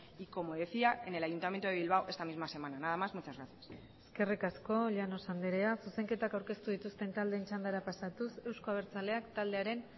y como decía en el ayuntamiento de bilbao esta misma semana nada más muchas gracias eskerrik asko llanos andrea zuzenketak aurkeztu dituzten taldeen txandara pasatuz euzko abertzaleak taldearen